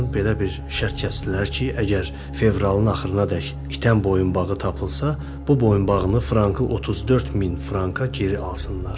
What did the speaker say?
Belə bir şərt kəsdilər ki, əgər fevralın axırınadək itən boyunbağı tapılsa, bu boyunbağını frankı 34 min franka geri alsınlar.